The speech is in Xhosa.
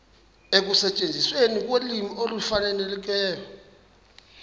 ekusetyenzisweni kolwimi olufanelekileyo